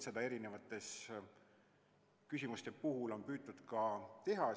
Seda on eri küsimuste puhul püütud ka teha.